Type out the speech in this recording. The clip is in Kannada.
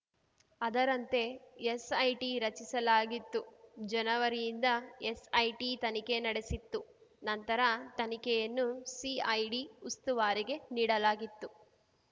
ಅದರಂತೆ ಎಸ್‌ಐಟಿ ರಚಿಸಲಾಗಿತ್ತು ಜನವರಿಯಿಂದ ಎಸ್‌ಐಟಿ ತನಿಖೆ ನಡೆಸಿತ್ತು ನಂತರ ತನಿಖೆಯನ್ನು ಸಿಐಡಿ ಉಸ್ತುವಾರಿಗೆ ನೀಡಲಾಗಿತ್ತು